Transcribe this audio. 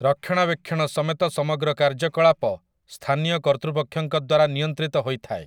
ରକ୍ଷଣାବେକ୍ଷଣ ସମେତ ସମଗ୍ର କାର୍ଯ୍ୟକଳାପ ସ୍ଥାନୀୟ କର୍ତ୍ତୃପକ୍ଷଙ୍କ ଦ୍ୱାରା ନିୟନ୍ତ୍ରିତ ହୋଇଥାଏ ।